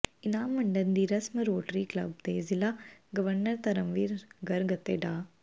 ਇਨਾਮ ਵੰਡਣ ਦੀ ਰਸਮ ਰੋਟਰੀ ਕਲੱਬ ਦੇ ਜ਼ਿਲ੍ਹਾ ਗਵਰਨਰ ਧਰਮਵੀਰ ਗਰਗ ਅਤੇ ਡਾ